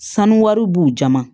Sanu wari b'u jama